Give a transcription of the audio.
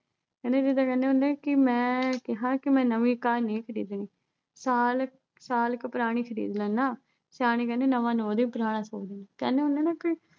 ਕਹਿੰਦੇ ਜਿੱਦਾਂ ਕਹਿੰਦੇ ਹੁੰਦੇ ਆ ਕਿ ਮੈਂ ਕਿਹਾ ਕਿ ਮੈਂ ਨਵੀਂ ਕਾਰ ਨਹੀਂ ਖਰੀਦਣੀ ਸਾਲ, ਸਾਲ ਕੁ ਪੁਰਾਣੀ ਖਰੀਦ ਲੈਨਾਂ ਸਿਆਣੇ ਕਹਿੰਦੇ ਨਵਾਂ ਨੌਂ ਦਿਨ, ਪੁਰਾਣਾ ਸੌ ਦਿਨ ਕਹਿੰਦੇ ਹੁੰਦੇ ਆ ਨਾ ਕਿ